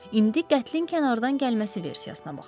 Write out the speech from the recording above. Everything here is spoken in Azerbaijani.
İndi qətlin kənardan gəlməsi versiyasına baxaq.